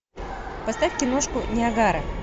поставь киношку ниагара